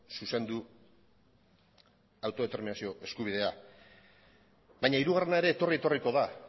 zuzendu autodeterminazio eskubidea baina hirugarrena ere etorri etorriko da